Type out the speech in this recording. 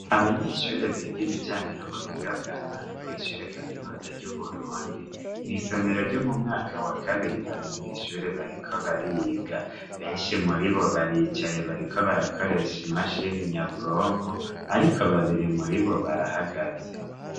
Abanyeshure biga ibijanye n'ubuhinga bwa none kw'ishure kaminuza ry'uburundi mw'isomero ryo mu mwaka wa kabiri bari mw'ishure bariko bariga benshi muri bo baricaye bariko barakoresha imashini nyabwonko, ariko babiri muri bo barahagaze.